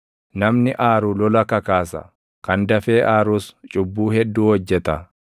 Namni aaru lola kakaasa; kan dafee aarus cubbuu hedduu hojjeta.